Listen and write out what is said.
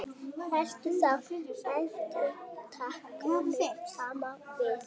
Helltu þá edikinu saman við.